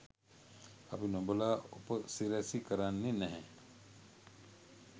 අපි නොබලා උපසිරැස කරන්නෙ නැහැ